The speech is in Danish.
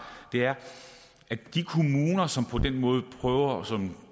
er at de kommuner som på den måde prøver som